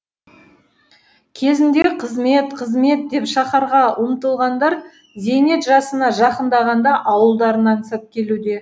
кезінде қызмет қызмет деп шаһарға ұмтылғандар зейнет жасына жақындағанда ауылдарын аңсап келуде